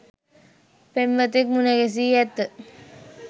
පෙම්වතෙක් මුණ ගැසී ඇත